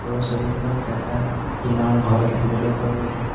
ওপৰৰ ছবিখনত এটা টিনৰ ঘৰ দেখিবলে পোৱা গৈছে।